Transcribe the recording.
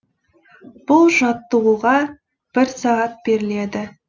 бұл жаттығуға бір сағат беріледі